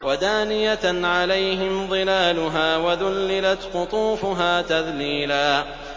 وَدَانِيَةً عَلَيْهِمْ ظِلَالُهَا وَذُلِّلَتْ قُطُوفُهَا تَذْلِيلًا